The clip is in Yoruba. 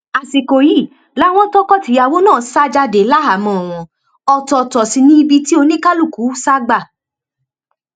àsìkò yìí làwọn tọkọtìyàwó náà sá jáde láhàámọ wọn ọtọọtọ sí níbi tí oníkálùkù sá gbà